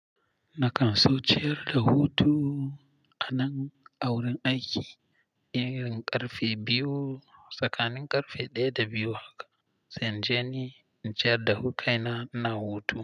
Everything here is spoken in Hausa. Na kan suciyar da hutu a nan a wurin aiki, idan irin ƙarfe biyu tsakanin ƙarfe ɗaya da biyu haka zan je ni in ciyar da kaina na hutu.